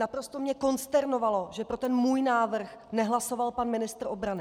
Naprosto mě konsternovalo, že pro ten můj návrh nehlasoval pan ministr obrany.